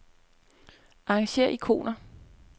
Arrangér ikoner.